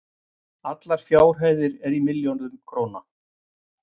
Allar fjárhæðir í milljörðum króna.